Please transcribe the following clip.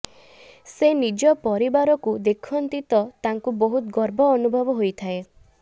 ସେ ନିଜ ପରିବାରକୁ ଦେଖନ୍ତି ତ ତାଙ୍କୁ ବହୁତ ଗର୍ବ ଅନୁଭବ ହୋଇଥାଏ